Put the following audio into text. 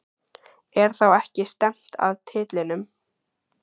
Er þá ekki stefnt að titlinum?